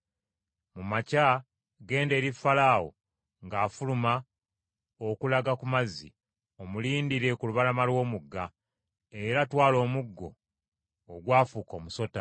Mu makya genda eri Falaawo ng’afuluma okulaga ku mazzi, omulindirire ku lubalama lw’omugga Kiyira . Era twala n’omuggo ogwafuuka omusota.